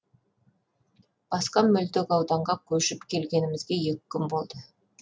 басқа мөлтек ауданға көшіп келгенімізге екі күн болды